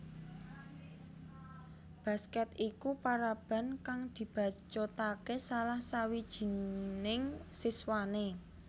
Basket iku paraban kang dibacutake salah sawijining siswane